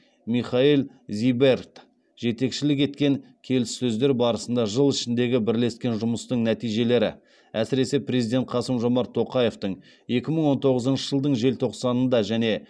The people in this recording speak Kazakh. михаэль зиберт жетекшілік еткен келіссөздер барысында жыл ішіндегі бірлескен жұмыстың нәтижелері әсіресе президент қасым жомарт тоқаевтың екі мың он тоғызыншы жылдың желтоқсанында және